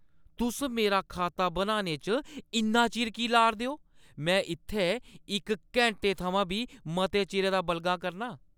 तुस मेरा खाता बनाने च इन्ना चिर की ला 'रदे ओ? में इत्थै इक घैंटे थमां बी मते चिरै दा बलगा करनां !